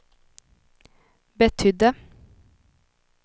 betydde